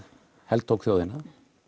heltók þjóðina